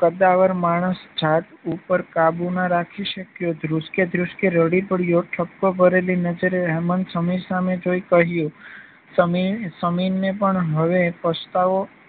કદાવર માણસ જાત ઉપર કાબુ ન રાખી શક્યો ધ્રુસ્કે ધ્રુસ્કે રડી પડ્યો. ઠપકો ભરેલી નજરે હેમંત સમીર સામે જોઈ કહ્યું સમીરને પણ હવે પસતાવો